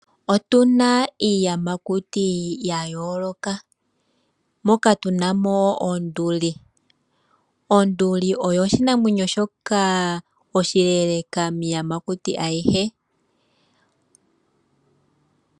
Otuna iiyamakuti ya yooloka moka tuna mo onduli. Onduli oyo oshinamwenyo shoka oshileeleeka miiyamakuti ayihe.